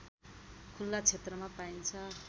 खुल्ला क्षेत्रमा पाइन्छ